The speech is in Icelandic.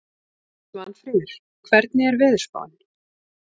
Svanfríður, hvernig er veðurspáin?